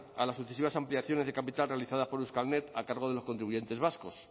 a las sucesivas ampliaciones de capital realizadas por euskalnet a cargo de los contribuyentes vascos